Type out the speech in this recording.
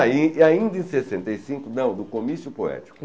Aí, e ainda em sessenta e cinco, não, do Comício Poético.